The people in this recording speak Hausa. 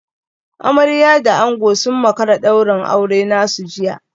Amarya da ango sun makara daurin auren nasu jiya